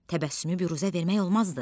Təbəssümü büruzə vermək olmazdı.